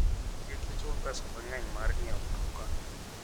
Kik ichul pesa mang'eny mar ng'iewo mtoka.